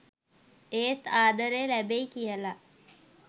ඒත් ආදරේ ලැබෙයි කියලා.